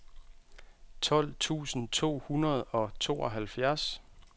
tolv tusind to hundrede og tooghalvfems